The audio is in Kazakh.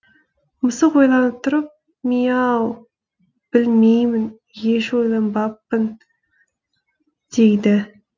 мысық ойланып тұрып миияяяу білмеймін еш ойланбаппын дейді